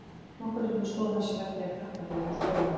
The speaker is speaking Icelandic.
Nokkrum sinnum stóð hann sig að því að klappa þegar hún skoraði.